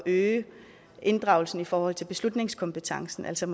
øge inddragelsen i forhold til beslutningskompetencen altså